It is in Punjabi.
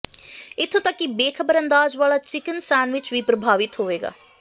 ਇੱਥੋਂ ਤਕ ਕਿ ਬੇਖਬਰ ਅੰਦਾਜ਼ ਵਾਲਾ ਚਿਕਨ ਸੈਨਵਿਚ ਵੀ ਪ੍ਰਭਾਵਿਤ ਹੋਵੇਗਾ